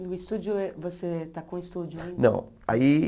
E o estúdio, você está com o estúdio ainda? Não, aí